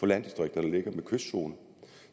landdistrikter der ligger med kystzone